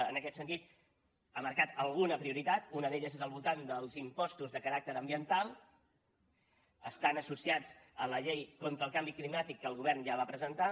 en aquest sentit ha marcat alguna prioritat una d’elles és al voltant dels impostos de caràcter ambiental estan associats a la llei contra el canvi climàtic que el govern ja va presentar